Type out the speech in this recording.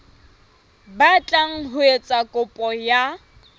batlang ho etsa kopo ya